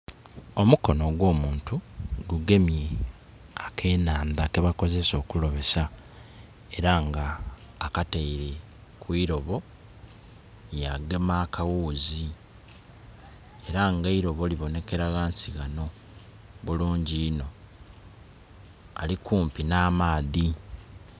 Omukono ogwomuntu gu gemye akenhandha kebakozesa okulobesa era nga akataile ku ilobo yagema akaghuzi era nga eilobo libonekera ghansi ghano bulungi inho, ali kumpi n'amaadhi.